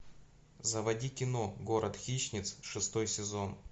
заводи кино город хищниц шестой сезон